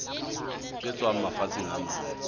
tse tswang mafatsheng a mang